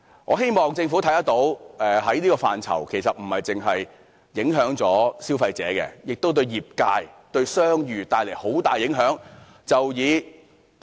我希望政府看到，這個範疇不單影響消費者，對業界和商譽亦帶來很大影響。